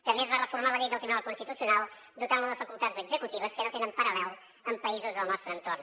també es va reformar la llei del tribunal constitucional dotant lo de facultats executives que no tenen paral·lel en països del nostre entorn